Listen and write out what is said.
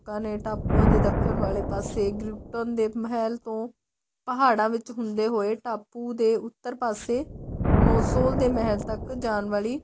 ਲੋਕਾਂ ਨੇ ਟਾਪੂਆਂ ਦੇ ਦੱਖਣ ਵਾਲੇ ਪਾਸੇ grip tan ਮਹਿਲ ਤੋ ਪਹਾੜਾ ਵਿੱਚ ਹੁੰਦੇ ਹੋਏ ਟਾਪੂ ਦੇ ਉੱਤਰ ਪਾਸੇ ਨੋ ਸੋ ਦੇ ਮਹਿਲ ਤੱਕ ਜਾਣ ਵਾਲੀ